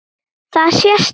Það sést á þér